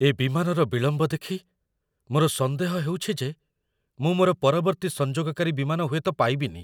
ଏ ବିମାନର ବିଳମ୍ବ ଦେଖି ମୋର ସନ୍ଦେହ ହେଉଛି ଯେ ମୁଁ ମୋର ପରବର୍ତ୍ତୀ ସଂଯୋଗକାରୀ ବିମାନ ହୁଏତ ପାଇବିନି!